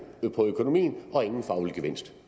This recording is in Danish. på økonomien og ingen faglig gevinst